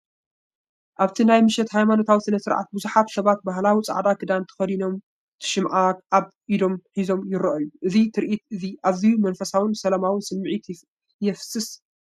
ኣብቲ ናይ ምሸት ሃይማኖታዊ ስነ-ስርዓት ብዙሓት ሰባት ባህላዊ ጻዕዳ ክዳን ተኸዲኖም ሽምዓ ኣብ ኢዶም ሒዞም ይረኣዩ። እዚ ትርኢት እዚ ኣዝዩ መንፈሳውን ሰላማውን ስምዒት ይፈስስ ኣሎ።